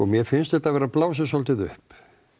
mér finnst þetta vera blásið svolítið upp